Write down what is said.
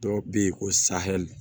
Dɔw bɛ yen ko sahɛli